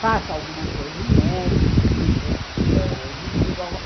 Faça alguma coisa inédita, que você ãh descubra algo.